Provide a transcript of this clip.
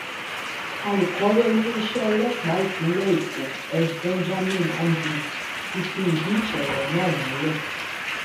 alūkkóró iléeṣẹ ọlọpàá ìpínlẹ èkó s benjamin hondyin ti fi ìdí ìṣẹlẹ náà múlẹ